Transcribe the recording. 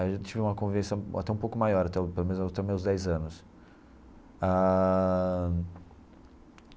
Aí eu já tive uma convivência até um pouco maior até o, pelo menos até os meus dez anos ah.